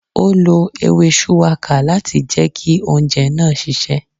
Ó lo ewé shuwaka láti jẹ ki oúnjẹ náà sise